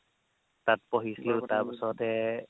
তাত পঢ়িছিলো তাৰপিছতে